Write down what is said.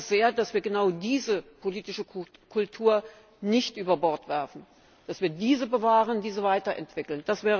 Ich hoffe sehr, dass wir genau diese politische Kultur nicht über Bord werfen, dass wir sie bewahren und weiterentwickeln.